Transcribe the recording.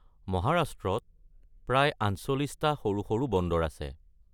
মহাৰাষ্ট্ৰত প্ৰায় ৪৮ টা সৰু সৰু বন্দৰ আছে।